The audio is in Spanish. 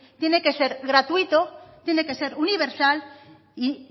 tiene que ser gratuito tiene que ser universal y